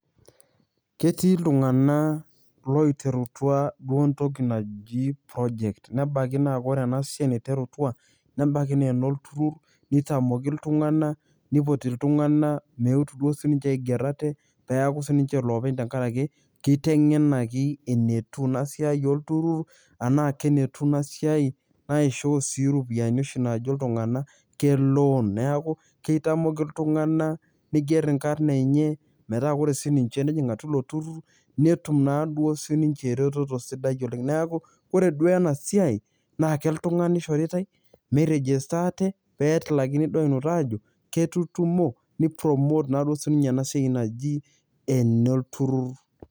Ketii iltung'anak loiterutua duo entoki naji project nebaki naa kore ena siai naiterutua nebaki naa enolturur nitamoki iltung'anak, nipoti iltung'anak meetu duo sininje aiger ote peeku siinje loopeny tenkaraki kitengenaki enetiu ina siai olturur enaa kenetiu ina siai naisho sii iropiani naajo iltung'anak ke loan. Neeku kitamooki iltung'anak niiger inkarn enye metaa kore sininje nejing' atua ilo turur netum naa duo sininje eretoto sidai oleng'. Neeku ore duo ena siai naa iltung'anak ishoritai mi register ate pee etilakini duo ainoto ajo ketutumo ni promote naa siinje ena siai naji ene olturur.